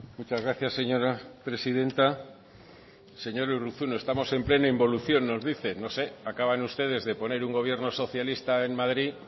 muchas gracias señora presidenta señor urruzuno estamos en plena involución nos dice no sé acaban ustedes de poner un gobierno socialista en madrid